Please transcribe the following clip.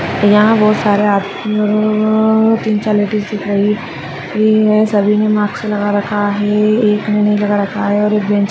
यहा बहुत सारे आ अ अ तीन चार लेडीज दिखाई सभी ने मास्क लगा रखा है एकी ने नहीं लगा रखा है और एक बेंच --